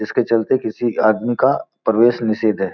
जिसके चलते किसी आदमी का प्रवेश निषेद है।